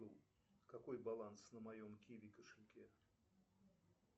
какой баланс на моем киви кошельке